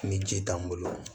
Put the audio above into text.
Ni ji t'an bolo